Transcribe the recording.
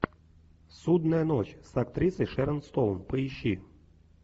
судная ночь с актрисой шерон стоун поищи